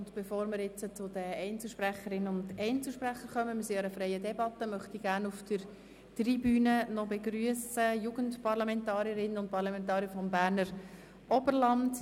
Wir befinden uns in einer freien Debatte, und bevor wir zu den Einzelsprecherinnen und Einzelsprechern kommen, möchte ich gerne auf der Tribüne die Jugendparlamentarierinnen und Jugendparlamentarier des Berner Oberlands begrüssen.